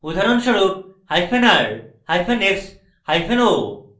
উদাহরণস্বরূপ:r hyphen rx hyphen x এবংo hyphen o